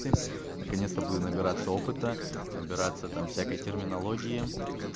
ти наконец-то буду набираться опыта набираться там всякой терминологии